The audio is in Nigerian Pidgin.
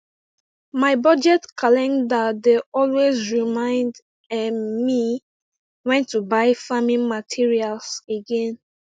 my budget calendar dey always remind um me when to buy farming materials again